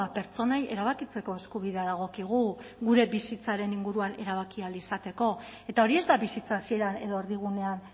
pertsonei erabakitzeko eskubidea dagokigu gure bizitzaren inguruan erabaki ahal izateko eta hori ez da bizitza hasieran edo erdigunean